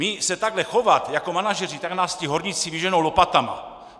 My se takhle chovat jako manažeři, tak nás ti horníci vyženou lopatama.